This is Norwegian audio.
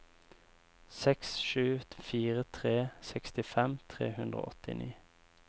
seks sju fire tre sekstifem tre hundre og åttini